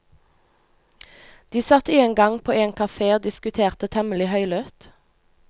De satt en gang på en kafé og diskuterte temmelig høylytt.